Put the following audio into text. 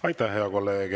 Aitäh, hea kolleeg!